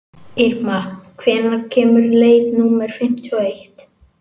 Irma, hvenær kemur leið númer fimmtíu og eitt?